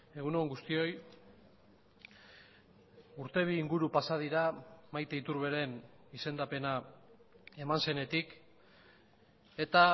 egun on guztioi urte bi inguru pasa dira maite iturberen izendapena eman zenetik eta